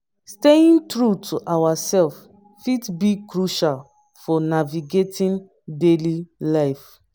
staying true to ourselves fit be crucial for navigating daily life.